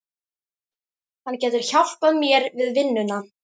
Hann getur hjálpað mér við vinnuna